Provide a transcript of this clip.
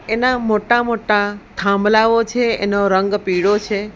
એના મોટા મોટા થાંભલાઓ છે એનો રંગ પીળો છે.